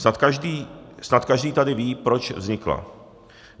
Snad každý tady ví, proč vznikla.